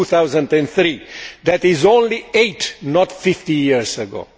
2003. That is only eight, not 50, years ago.